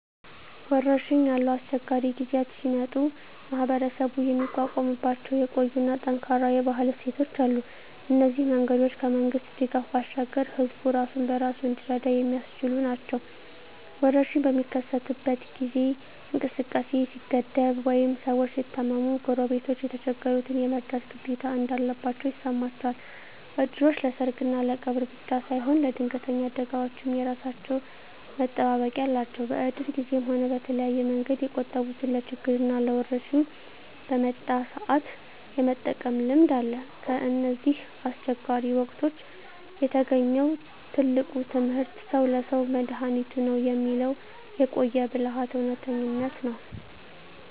ወረርሽኝ ያሉ አስቸጋሪ ጊዜያት ሲመጡ ማኅበረሰቡ የሚቋቋምባቸው የቆዩና ጠንካራ የባህል እሴቶች አሉ። እነዚህ መንገዶች ከመንግሥት ድጋፍ ባሻገር ሕዝቡ ራሱን በራሱ እንዲረዳ የሚያስችሉ ናቸው። ወረርሽኝ በሚከሰትበት ጊዜ እንቅስቃሴ ሲገደብ ወይም ሰዎች ሲታመሙ፣ ጎረቤቶች የተቸገሩትን የመርዳት ግዴታ እንዳለባቸው ይሰማቸዋል። እድሮች ለሰርግና ለቀብር ብቻ ሳይሆን ለድንገተኛ አደጋዎችም የራሳቸው መጠባበቂያ አላቸው። በእድር ጊዜም ሆነ በተለያየ መንገድ የቆጠቡትን ለችግርና ለወረርሽኝ በመጣ ሰአት የመጠቀም ልምድ አለ። ከእነዚህ አስቸጋሪ ወቅቶች የተገኘው ትልቁ ትምህርት "ሰው ለሰው መድኃኒቱ ነው" የሚለው የቆየ ብልሃት እውነተኝነት ነው።